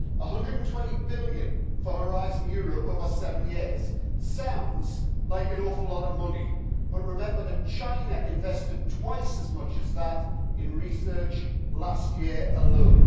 EUR 120 billion for Horizon Europe over seven years sounds like an awful lot of money, but remember that China invested twice as much as that in research last year alone.